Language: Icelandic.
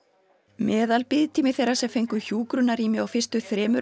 meðalbiðtími þeirra sem fengu hjúkrunarrými á fyrstu þremur